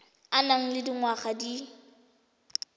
o nang le dingwaga di